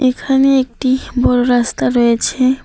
এখানে একটি বড় রাস্তা রয়েছে।